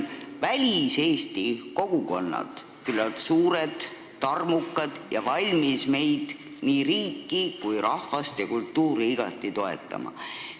Väliseesti kogukonnad on küllalt suured ja tarmukad ning valmis meid, st riiki, rahvast ja ka kultuuri igati toetama.